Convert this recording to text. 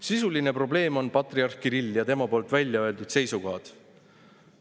Sisuline probleem on patriarh Kirill ja tema väljaöeldud seisukohad.